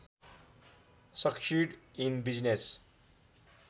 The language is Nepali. succeed in business